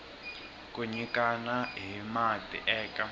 ku nyikana hi mati eka